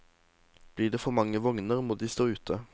Blir det for mange vogner, må de stå ute.